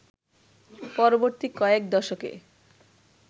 পরবর্তী কয়েক দশকে